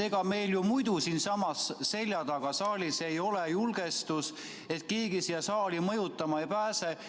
Ega meil ju muidu siinsamas meie selja taga saalis ei ole julgestust, et keegi siia saali mõjutama ei pääseks.